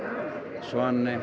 svani